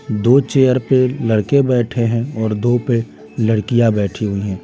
दो चेयर पे लड़के बैठे हैंऔर दो पे लड़कियां बैठी हुई हैं।